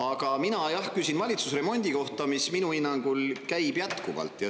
Aga mina küsin valitsusremondi kohta, mis minu hinnangul käib jätkuvalt.